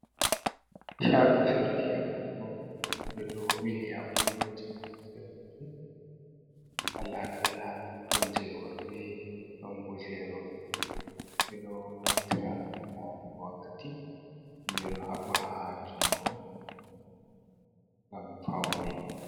Shago surgi yabugo de do bil yabugoji manterfere walakala don jeworbe dombu zeroj bedo naftirangam mo wakkati mbe do habba ha jingo ngam faune